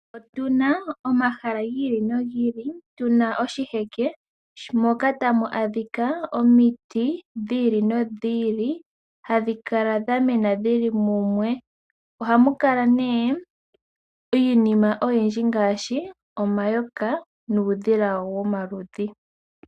Otuna omahala gi ili nogi ili, tuna oshiheke, moka tamu adhika omiti dhi ili nodhi ili , hadhi kala dha mena dhili mumwe. Ohamu kala nee iinima oyindji ngaashi omayoka nuudhila womaludhi.